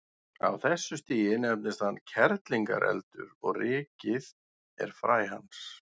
Á þessu stigi nefnist hann kerlingareldur og rykið er fræ hans.